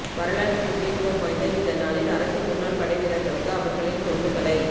வரலாற்று முக்கியத்துவம் வாய்ந்த இந்த நாளில் அரசு முன்னாள் படைவீரா்களுக்கு அவா்களின் தொண்டுகளை